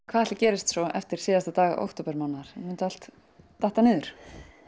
hvað ætli gerist svo eftir síðasta dag októbermánaðar mun þetta allt detta niður